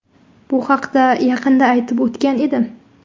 Bu haqida yaqinda aytib o‘tgan edim.